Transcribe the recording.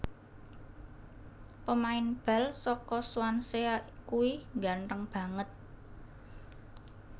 Pemain bal soko Swansea kui ngganteng banget